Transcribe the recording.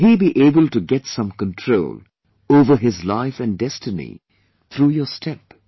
Will he be able to get some control over his life and destiny through your step